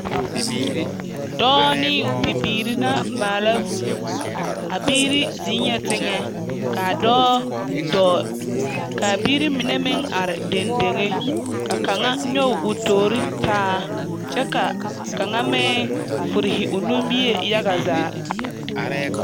Dͻͻ ne bibiiri na maala vũũ. A biiri zeŋԑԑ teŋԑ kaa dͻͻ dͻͻŋ kaa biiri mine neŋ are dendeŋe, ka kaŋa nyͻge o toori taa kyԑ ka kaŋa furihi o nimbie yaga zaa.